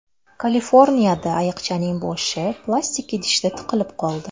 Kaliforniyada ayiqchaning boshi plastik idishga tiqilib qoldi .